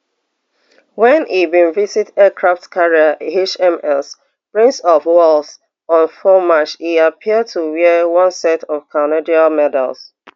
wen e bin visit aircraft carrier hms prince of wales on four march e appear to wear one set of canadian medals